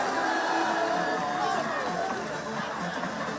Qarabağ!